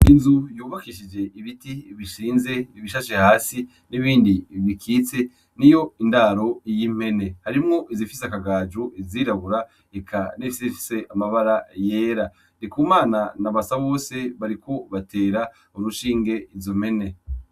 Inzu yubakishije ibiti bishinze, ibishashe hasi, n'ibindi bikitse, niyo ndaro y'impene. Harimwo izifise akagajo izirabura eka n'izifise amabara yera. Ndikumana na Basabose bariko batera urushinge izo mpene.